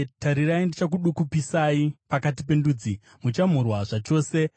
“Tarirai, ndichakudukupisai pakati pendudzi; muchamhurwa zvachose.